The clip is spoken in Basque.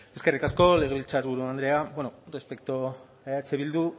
eskerrik asko legebiltzarburu andrea respecto a eh bildu